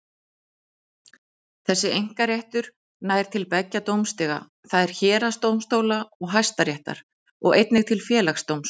Þessi einkaréttur nær til beggja dómstiga, það er héraðsdómstóla og Hæstaréttar, og einnig til Félagsdóms.